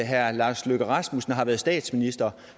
herre lars løkke rasmussen har været statsminister